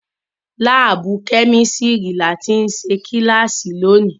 Lábùù Kẹ́místrì ni a ti ṣe kílàsì tòní.